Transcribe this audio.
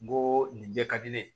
N go nin bɛɛ ka di ne ye